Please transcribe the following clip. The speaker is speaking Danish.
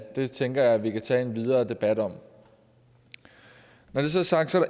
det tænker jeg vi kan tage en videre debat om når det så er sagt er